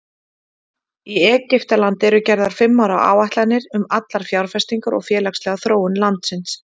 Í Egyptalandi eru gerðar fimm ára áætlanir um allar fjárfestingar og félagslega þróun landsins.